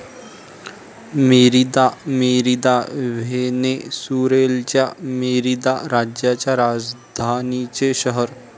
Merida, Merida, व्हेनेसुरेलच्या Merida राज्याच्या राजधानीचे शहर